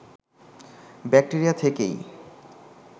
bacteria থেকেই